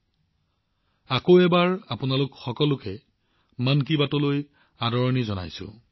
মন কী বাতলৈ আকৌ এবাৰ আপোনালোক সকলোকে এক উষ্ম আদৰণি জনাইছো